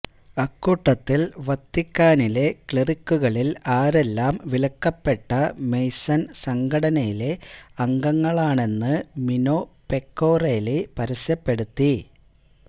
അക്കൂട്ടത്തില് വത്തിക്കാനിലെ ക്ലെറിക്കുകളില് ആരെല്ലാം വിലക്കപ്പെട്ട മെയ്സന് സംഘടനയിലെ അംഗങ്ങളാണെന്ന് മിനൊ പെക്കൊറേലി പരസ്യപ്പെടുത്തി